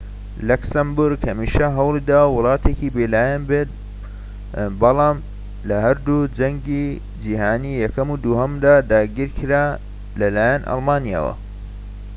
لەکسەمبۆرگ هەمیشە هەوڵیداوە وڵاتێکی بێلایەن بێت بەڵام لە هەردوو جەنگی جیهانی یەکەم و دووهەمدا داگیرکرا لەلایەن ئەڵمانیاوە